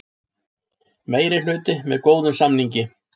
Meirihluti með góðum samningi